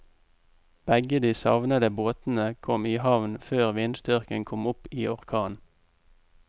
Begge de savnede båtene kom i havn før vindstyrken kom opp i orkan.